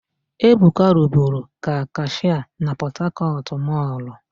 Ebuka rụburu ka kashịa na Pọtakọtụ mọlụ.